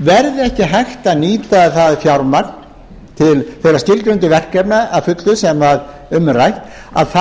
verði ekki hægt að nýta það fjármagn til þeirra skilgreindu verkefna að fullu sem um er rætt þá